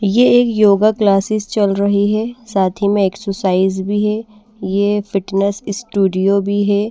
ये एक योगा क्लासेस चल रही है साथ ही में एक्सरसाइज भी है ये फिटनेस स्टूडियो भी है।